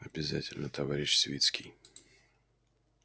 обязательно товарищ свицкий